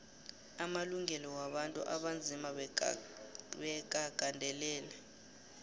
amalungelo wabantu abanzima bekagandelelwe